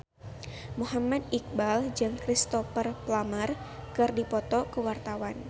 Muhammad Iqbal jeung Cristhoper Plumer keur dipoto ku wartawan